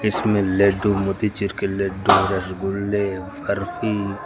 इसमें लड्डू मोतीचूर के लड्डू रसगुल्ले बर्फी--